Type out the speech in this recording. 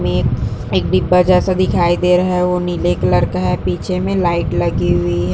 मे एक डिब्बा जैसा दिख रहा है वो नीले कलर का है पीछे मे लाइट लागी हुई हैं।